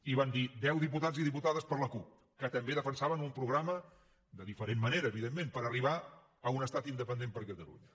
i van dir deu diputats i diputades per la cup que també defensaven un programa de diferent manera evidentment per arribar a un estat independent per catalunya